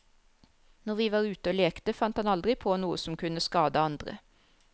Når vi var ute og lekte, fant han aldri på noe som kunne skade andre.